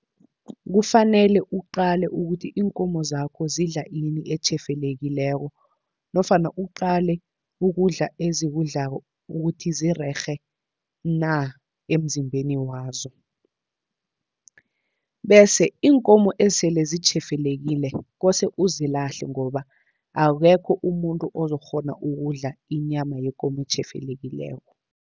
Kufanele uqale ukuthi iinkomo zakho zidla ini etjhefelekileko, nofana uqale ukudla ezikudlako ukuthi zirerhe na emzimbeni wazo. Bese iinkomo esele zitjhefelekile kose uzilahle, ngoba akekho umuntu ozokukghona ukudla inyama yekomo etjhefelekileko.